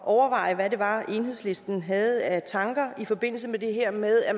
overveje hvad det var enhedslisten havde af tanker i forbindelse med det her med at